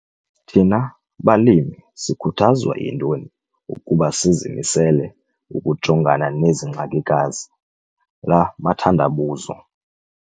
THINA BALIMI SIKHUTHAZWA YINTONI UKUBA SIZIMISELE UKUJONGANA NEZI NGXAKIKAZI, LA MATHANDABUZO?